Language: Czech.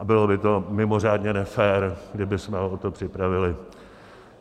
A bylo by to mimořádně nefér, kdybychom ho o to připravili.